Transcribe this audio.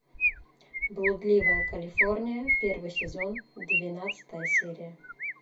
блудливая калифорния первый сезон двенадцатая серия